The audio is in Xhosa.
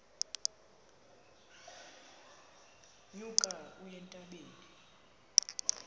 nyuka uye entabeni